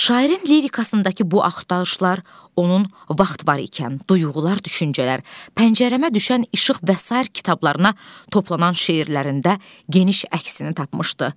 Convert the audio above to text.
Şairin lirikasındakı bu axtarışlar onun vaxt var ikən duyğular, düşüncələr, pəncərəmə düşən işıq və sair kitablarına toplanan şeirlərində geniş əksini tapmışdı.